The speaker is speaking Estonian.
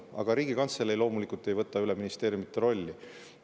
Aga Riigikantselei loomulikult ei võta üle ministeeriumite rolli.